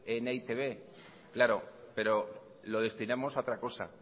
en eitb claro pero lo destinamos a otra cosa